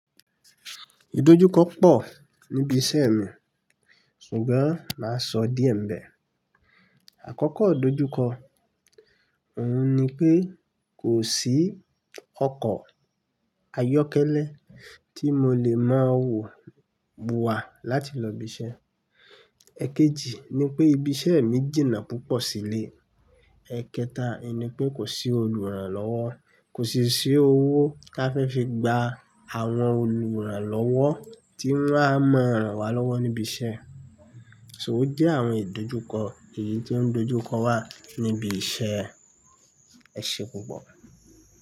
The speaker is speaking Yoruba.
Ìdojúkọ pọ̀ níbi iṣẹ́ mi, ṣùgbọ́n máa sọ díẹ̀ ń bẹ. Àkọ́kọ́ ìdojúkọ, òun ni pé kò sí ọkọ̀ ayọ́kẹ́lẹ́ tí mo lè máa wọ̀ bo wa láti lọ ibi iṣẹ́. Ẹ̀kejì ni pé ibi iṣẹ́ mi jìnnà púpọ̀ sílé. Ẹ̀kẹta n ni pé kò sí olùrànlọ́wọ́, kò sì sí owó ká fẹ́ fi gba àwọn olùrànlọ́wọ́ tí wọ́n á má ràn wá lọ́wọ́ níbi iṣẹ́. Ṣó ojẹ́ àwọn ìdojúkọ èyí tó ń dojúkọ wa níbi iṣẹ́. Ẹ ṣe púpọ̀.